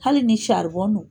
Hali ni .